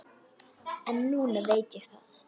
En núna veit ég það.